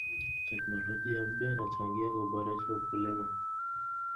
Teknolojia mpya inachangia kuboresha ukulima